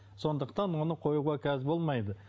сондықтан оны қоюға қазір болмайды